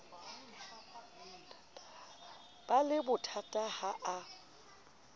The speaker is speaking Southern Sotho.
ba le bothata ha a